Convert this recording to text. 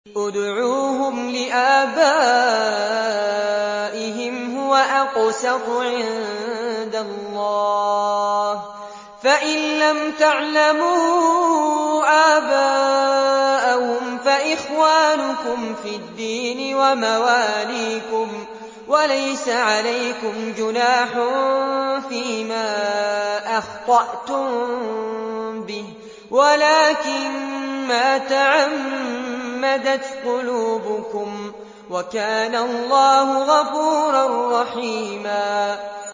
ادْعُوهُمْ لِآبَائِهِمْ هُوَ أَقْسَطُ عِندَ اللَّهِ ۚ فَإِن لَّمْ تَعْلَمُوا آبَاءَهُمْ فَإِخْوَانُكُمْ فِي الدِّينِ وَمَوَالِيكُمْ ۚ وَلَيْسَ عَلَيْكُمْ جُنَاحٌ فِيمَا أَخْطَأْتُم بِهِ وَلَٰكِن مَّا تَعَمَّدَتْ قُلُوبُكُمْ ۚ وَكَانَ اللَّهُ غَفُورًا رَّحِيمًا